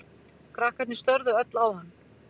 Krakkarnir störðu öll á hann.